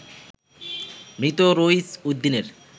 মৃত রইছ উদ্দিনের